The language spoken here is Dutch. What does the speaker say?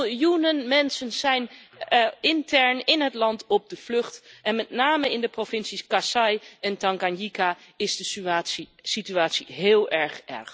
Miljoenen mensen zijn intern in het land op de vlucht en met name in de provincies Kasaï en Tanganyka is de situatie heel erg.